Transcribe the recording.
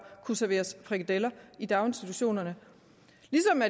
kunne serveres frikadeller i daginstitutionerne